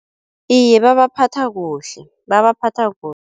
Iye babaphatha kuhle, babaphatha